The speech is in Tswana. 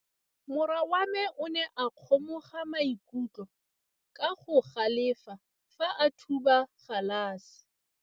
Morwa wa me o ne a kgomoga maikutlo ka go galefa fa a thuba galase.